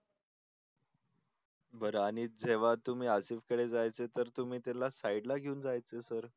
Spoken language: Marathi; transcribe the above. बरं आणि जेव्हा तुम्ही आसिफकडे जायचात तर तुम्ही त्यांना साईडला घेऊन जायचे सर.